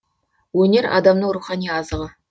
өнер адамның рухани азығы